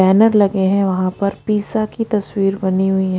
Banner लगे हैं वहाँ पर पिज्ज़ा की तस्वीर बनी हुई है।